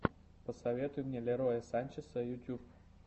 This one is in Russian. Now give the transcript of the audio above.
посоветуй мне лероя санчеса ютюб